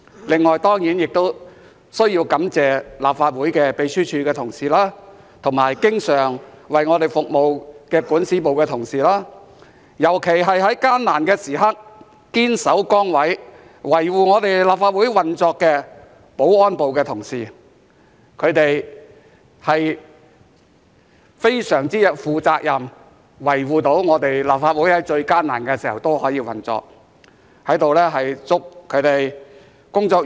此外，當然亦需要感謝立法會秘書處的同事，包括經常為我們服務的管事，以及尤其在艱難的時刻，堅守崗位，維護立法會運作的保安組同事，他們非常負責任，在立法會最艱難時，能夠維護立法會的運作。